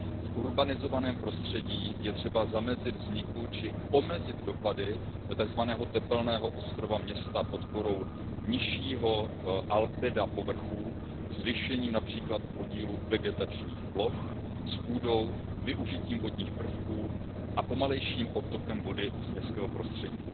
V urbanizovaném prostředí je třeba zamezit vzniku či omezit dopady takzvaného tepelného ostrova města podporou nižšího albeda povrchů, zvýšením například podílu vegetačních ploch s půdou, využitím vodních prvků a pomalejším odtokem vody z městského prostředí.